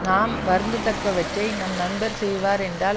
நாம் வருந்தத்தக்கவற்றை நம் நண்பர் செய்வார் என்றால்